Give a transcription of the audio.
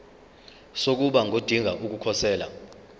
sokuba ngodinga ukukhosela